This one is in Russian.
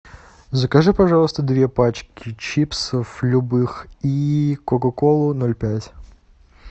закажи пожалуйста две пачки чипсов любых и кока колу ноль пять